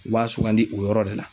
U b'a sugandi o yɔrɔ de la.